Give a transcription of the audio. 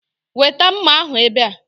Weta mma ahụ ebe a